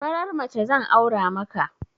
Farar mace zan aura maka